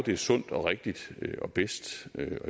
det er sundt og rigtigt og bedst